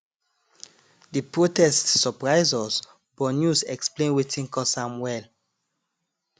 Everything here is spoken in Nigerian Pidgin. di protest surprise us but news explain wetin cause am well